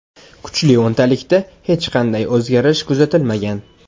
Kuchli o‘ntalikda hech qanday o‘zgarish kuzatilmagan.